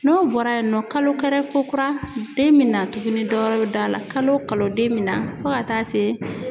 N'o bɔra yen nɔ kalo karɛ kokura den mɛ na tuguni dɔwɛrɛ bɛ dɔ a la kalo kalo den bɛ na fo ka taa se